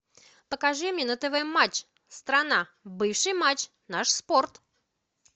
покажи мне на тв матч страна бывший матч наш спорт